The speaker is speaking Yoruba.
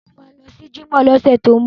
Mo ma lọ sí jímọ̀ lọ́sẹ̀ tó ń bọ̀